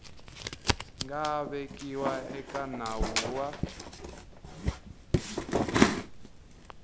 nga vekiwa eka nawu wa